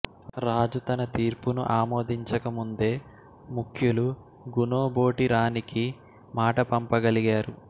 రాజు తన తీర్పును ఆమోదించకముందే ముఖ్యులు గుణోబోటి రాణికి మాట పంపగలిగారు